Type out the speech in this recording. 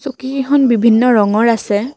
চকীকেইখন বিভিন্ন ৰঙৰ আছে।